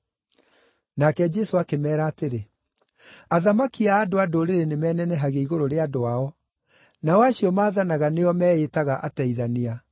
Nake Jesũ akĩmeera atĩrĩ, “Athamaki a andũ-a-Ndũrĩrĩ nĩmenenehagia igũrũ rĩa andũ ao; nao acio maathanaga nĩo meĩĩtaga Ateithania.